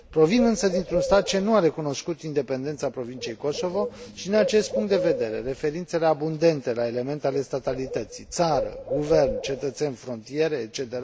Provin însă dintr un stat care nu a recunoscut independența provinciei Kosovo și, din acest punct de vedere, referințele abundente la elemente ale statalității, țară, guvern, cetățeni, frontiere etc.